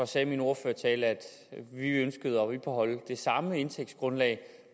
sagde i min ordførertale at vi ønskede at bibeholde det samme indtægtsgrundlag